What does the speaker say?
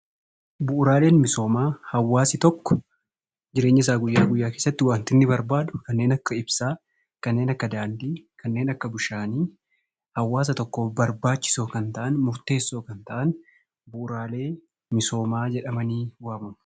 Bu'uuraaleen misoomaa hawaasni tokko jireenyasaa guyyaa guyyaa keessatti waanti inni barbaadu kanneen akka ibsaa, kanneen akka daandii, kanneen akka bishaanii, hawaasa tokkoof barbaachisoo kan ta'an, murteessoo kan ta'an bu'uuraalee misoomaa jedhamanii waamamu.